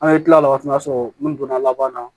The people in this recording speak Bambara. An ye kila la waati min na o y'a sɔrɔ n donna laban na